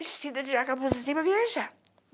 Vestida de para viajar.